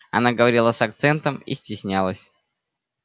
она говорила с акцентом и стеснялась